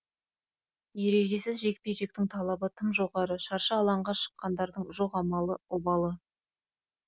ережесіз жекпе жектің талабы тым жоғары шаршы алаңға шыққандардың жоқ амалы обалы